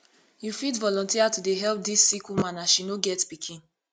you fit volunteer to dey help dis sick woman as she no get pikin